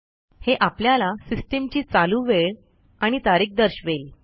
हे आपल्याला सिस्टीमची चालू वेळ आणि तारीख दर्शवेल